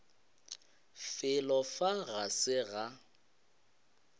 felo fa ga se ga